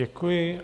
Děkuji.